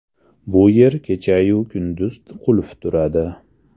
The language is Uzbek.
Bu yer kechayu kunduz qulf turadi.